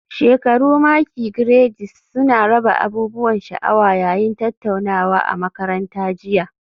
Shekaru maki Grades suna raba abubuwan sha'awa yayin tattaunawa a makaranta jiya